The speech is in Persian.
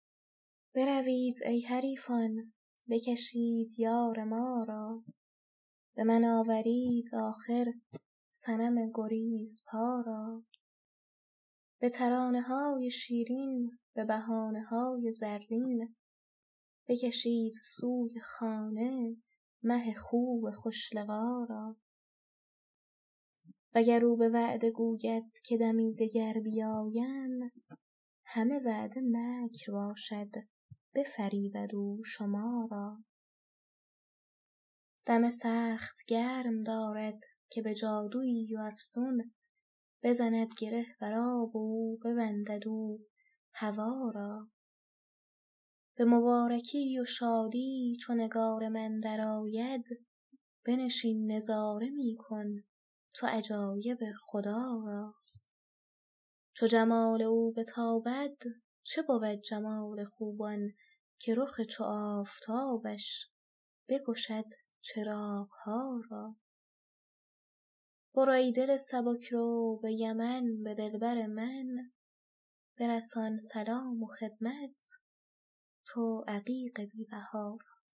بروید ای حریفان بکشید یار ما را به من آورید آخر صنم گریزپا را به ترانه های شیرین به بهانه های زرین بکشید سوی خانه مه خوب خوش لقا را وگر او به وعده گوید که دمی دگر بیایم همه وعده مکر باشد بفریبد او شما را دم سخت گرم دارد که به جادوی و افسون بزند گره بر آب او و ببندد او هوا را به مبارکی و شادی چو نگار من درآید بنشین نظاره می کن تو عجایب خدا را چو جمال او بتابد چه بود جمال خوبان که رخ چو آفتابش بکشد چراغ ها را برو ای دل سبک رو به یمن به دلبر من برسان سلام و خدمت تو عقیق بی بها را